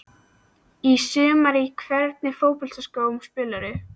Í sumar Í hvernig fótboltaskóm spilar þú?